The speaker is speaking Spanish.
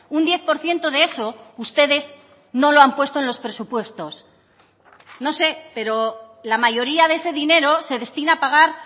un diez por ciento de eso ustedes no lo han puesto en los presupuestos no sé pero la mayoría de ese dinero se destina a pagar